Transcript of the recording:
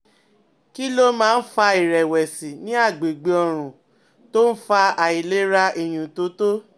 Kí ló máa ń fa ìrẹ̀wẹ̀sì ní àgbègbè ọrùn tó ń fa àìlera ìyúntótó?